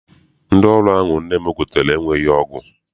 Ndị ọrụ ahụ nne m gotere enweghị ọgụ.